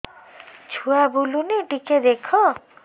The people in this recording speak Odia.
ଛୁଆ ବୁଲୁନି ଟିକେ ଦେଖ